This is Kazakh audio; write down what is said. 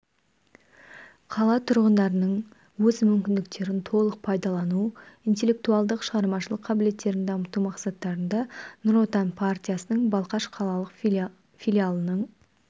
қала тұрғындарының өз мүмкіндіктерін толық пайдалану интеллектуалдық шығармашылық қабілеттерін дамыту мақсатында нұр отан партиясының балқаш қалалық филиалының